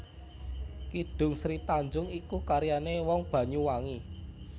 Kidung Sri Tanjung iku karyané wong Banyuwangi